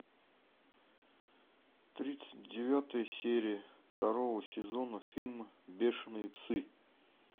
тридцать девятая серия второго сезона фильм бешенные псы